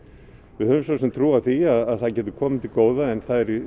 við höfum svo sem trú á því að það geti komið til góða en